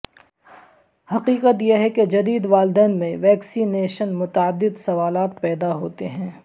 حقیقت یہ ہے کہ جدید والدین میں ویکسینیشن متعدد سوالات پیدا ہوتے ہیں